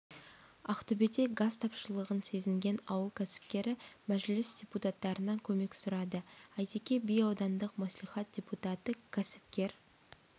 ақтөбеде газ тапшылығын сезінген ауыл кәсіпкері мәжіліс депутаттарынан көмек сұрады әйтеке би аудандық мәслихат депутаты кәсіпкер